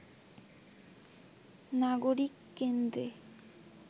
নাগরিক কেন্দ্রে